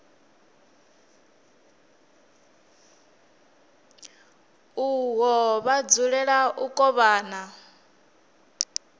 uho vha dzulela u kovhana